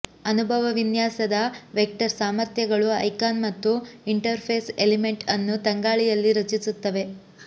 ಅನುಭವ ವಿನ್ಯಾಸದ ವೆಕ್ಟರ್ ಸಾಮರ್ಥ್ಯಗಳು ಐಕಾನ್ ಮತ್ತು ಇಂಟರ್ಫೇಸ್ ಎಲಿಮೆಂಟ್ ಅನ್ನು ತಂಗಾಳಿಯಲ್ಲಿ ರಚಿಸುತ್ತವೆ